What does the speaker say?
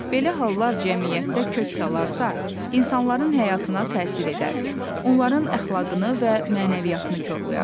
Belə hallar cəmiyyətdə kök salarsa, insanların həyatına təsir edər, onların əxlaqını və mənəviyyatını korlayar.